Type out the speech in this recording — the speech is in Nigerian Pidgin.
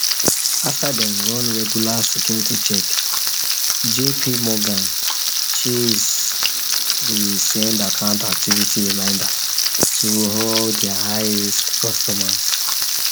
after dem run regular security check jpmorgan chase dey send account activity reminder to all their highrisk customers